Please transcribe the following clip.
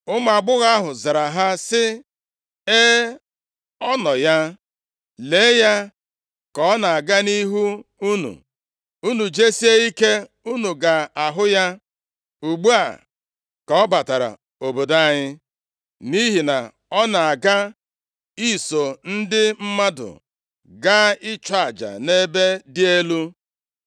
Ụmụ agbọghọ ahụ zara ha sị, “E, ọ nọ ya. Lee ya ka ọ na-aga nʼihu unu. Unu jesie ike unu ga-ahụ ya. Ugbu a ka ọ batara obodo anyị, nʼihi na ọ na-aga iso ndị mmadụ gaa ịchụ aja nʼebe dị elu.